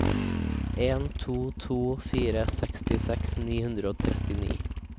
en to to fire sekstiseks ni hundre og trettini